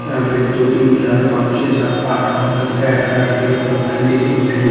यहां पे दो तीन चार पांच छे सात आठ औरत है हरा कलर का पंडित लोग पहले--